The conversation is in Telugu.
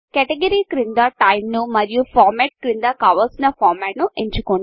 క్యాటగరీ క్రింద టైమ్ ను మరియు Formatఫార్మ్యాట్ క్రింద కావలసిన ఫార్మాట్ ఎంచుకోండి